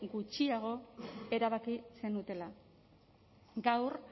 gutxiago erabaki zenutela gaur